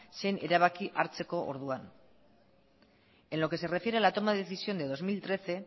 zein erabaki hartzeko orduan en lo que se refiere a la toma de decisión de dos mil trece